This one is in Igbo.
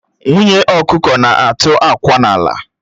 Nwunye ọkụkọ na-atụ akwa n'ala